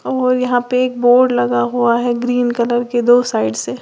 और यहां पे एक बोर्ड लगा हुआ है ग्रीन कलर के दो साइड से।